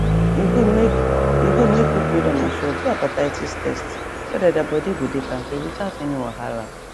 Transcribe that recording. e good make e good make people wey don mature do hepatitis test so that their body go dey kampe without any wahala